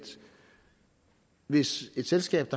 hvis et selskab